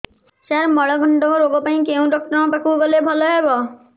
ସାର ମଳକଣ୍ଟକ ରୋଗ ପାଇଁ କେଉଁ ଡକ୍ଟର ପାଖକୁ ଗଲେ ଭଲ ହେବ